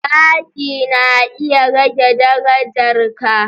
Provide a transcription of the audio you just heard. Zagi na iya rage darajar kai.